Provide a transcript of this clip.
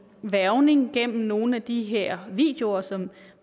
hvervning gennem nogle af de her videoer som